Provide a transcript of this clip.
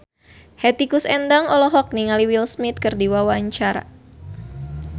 Hetty Koes Endang olohok ningali Will Smith keur diwawancara